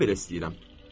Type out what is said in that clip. Mən belə istəyirəm.